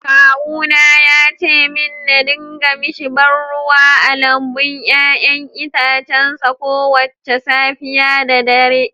Kawuna ya ce min na dinga mishi ba ruwa a lambun 'ya'yan itacen sa kowace safiya da dare